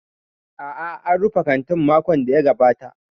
A'a, an rufe kantin a makon da ya gabata.